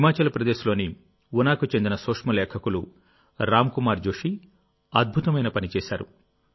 హిమాచల్ ప్రదేశ్లోని ఉనాకు చెందిన సూక్ష్మ లేఖకులు రామ్ కుమార్ జోషి అద్భుతమైన పని చేశారు